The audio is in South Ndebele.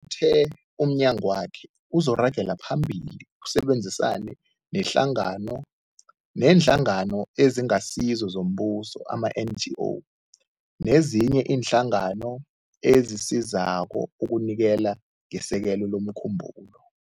Uthe umnyagwakhe uzoragela phambili usebenzisane nehlangano neeNhlangano eziNgasizo zoMbuso, ama-NGO, nezinye iinhlangano ezisizako ukunikela ngesekelo lomkhumbulo.